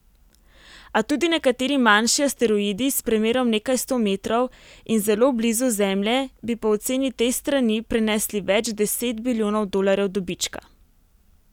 A tudi nekateri manjši asteroidi s premerom nekaj sto metrov in zelo blizu Zemlje bi po oceni te strani prinesli več deset bilijonov dolarjev dobička.